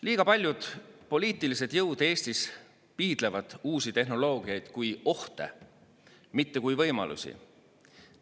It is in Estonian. Liiga paljud poliitilised jõud Eestis piidlevad uusi tehnoloogiaid kui ohte, mitte kui võimalusi.